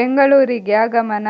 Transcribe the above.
ಬೆಂಗಳೂರಿಗೆ ಆಗಮನ